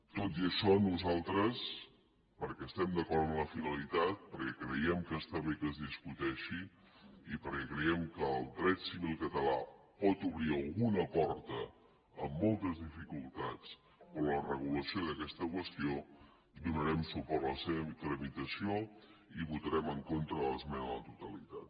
tot i això nosaltres perquè estem d’acord amb la finalitat perquè creiem que està bé que es discuteixi i perquè creiem que el dret civil català pot obrir alguna porta amb moltes dificultats per a la regulació d’aquesta qüestió donarem suport a la seva tramitació i votarem en contra de l’esmena a la totalitat